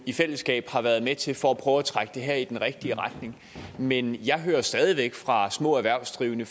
i fællesskab har været med til for at prøve at trække det her i den rigtige retning men jeg hører stadig væk fra for små erhvervsdrivende